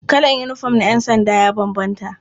Kalan yinifom na ƴansanda ya bambanta.